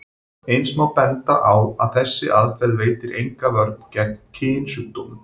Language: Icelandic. Eins má benda á að þessi aðferð veitir enga vörn gegn kynsjúkdómum.